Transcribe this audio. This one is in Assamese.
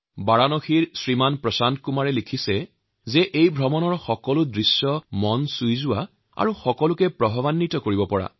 বাৰাণসীৰ শ্ৰী প্ৰশান্ত কুমাৰ লিখিছে যে সেই যাত্ৰাৰ সকলো দৃশ্যই তেওঁৰ মন চুই যোৱাৰ লগতে ই অনুপ্ৰাণিত কৰিছে